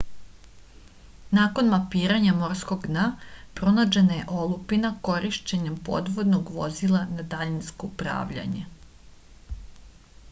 nakon mapiranja morskog dna pronađena je olupina korišćenjem podvodnog vozila na daljinsko upravljanje